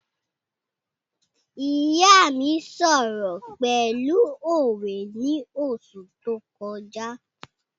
ìyá mí sọ̀rọ̀ pẹ̀lú òwe ni oṣù tó kọjá